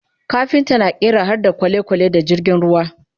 kafinta na ƙera harda kwalekwale da jirgin ruwa